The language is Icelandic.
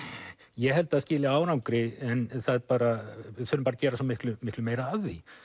ég held það skili árangri en við þurfum að gera svo miklu miklu meira af því